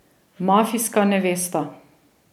Mafijska nevesta.